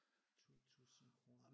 2 tusinde kroner